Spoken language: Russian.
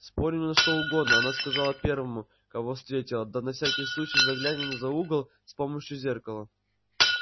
спорим на что угодно она сказала первому кого встретила да на всякий случай заглянем за угол с помощью зеркала